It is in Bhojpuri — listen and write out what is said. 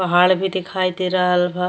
पहाड़ भी दिखायी दे रहल बा।